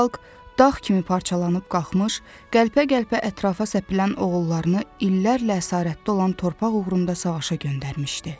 Xalq dağ kimi parçalanıb qalxmış, qəlpə-qəlpə ətrafa səpilən oğullarını illərlə əsarətdə olan torpaq uğrunda savaşa göndərmişdi.